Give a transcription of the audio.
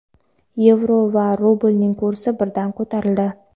yevro va rublning kursi birdan ko‘tarildi.